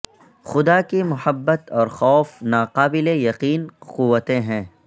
خدا کی محبت اور خوف ناقابل یقین قوتیں ہیں